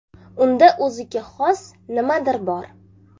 Unda o‘ziga xos nimadir bor”.